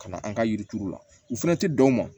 Ka na an ka yiri turu la u fana tɛ dan o ma